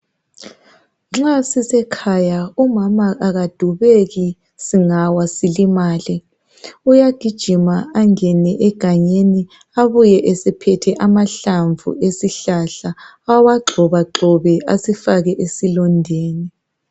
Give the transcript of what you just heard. Nxa sisekhaya umama akadubeki singawa silimale. Uyagijima angene egangeni abuye esephethe amahlamvu esihlahla. Awagxobagxobe asifake esilondeni.